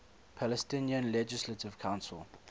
palestinian legislative council